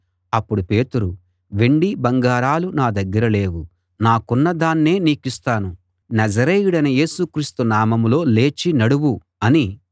అప్పుడు పేతురు వెండి బంగారాలు నా దగ్గర లేవు నాకున్న దాన్నే నీకిస్తాను నజరేయుడైన యేసుక్రీస్తు నామంలో లేచి నడువు అని